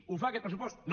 ho fa aquest pressupost no